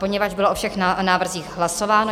Poněvadž bylo o všech návrzích hlasováno...